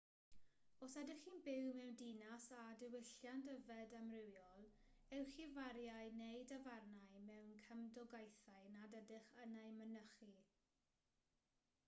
os ydych chi'n byw mewn dinas â diwylliant yfed amrywiol ewch i fariau neu dafarnau mewn cymdogaethau nad ydych yn eu mynychu